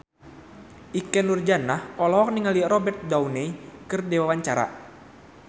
Ikke Nurjanah olohok ningali Robert Downey keur diwawancara